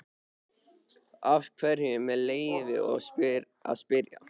Af hverju, með leyfi að spyrja?